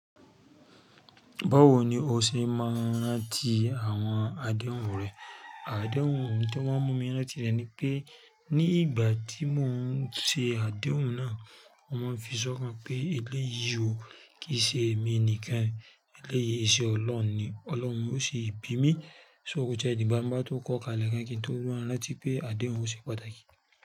Báwo ni o ṣe mọ̀un ránti àwọn adéhùn rẹ? Adéhùn tí wọ́n mú mi mọ̀ ní láti rẹ̀ ni pé ní ìgbà tí mò ń ṣe adéhùn náà, mọ́ máa ń fi sọ́kàn pé eléyìí ò kí ṣe èmi nìkan, eléyìí iṣe Ọlọ́run ni. Ọlọ́run ló sì bí mi, ṣó kò tie dìgbá ń bá tó kọ́ kalẹ́ẹ̀ gan kí n tó mọ̀ ránti pé adéhùn ò ṣe pàtàkì.